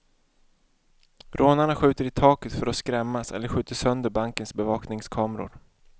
Rånarna skjuter i taket för att skrämmas eller skjuter sönder bankens bevakningskameror.